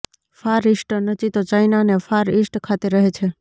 far eastern ચિત્તો China અને far east ખાતે રહે છે